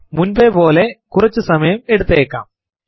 മുൻപേ പോലെ കുറച്ചു സമയം എടുത്തേക്കാം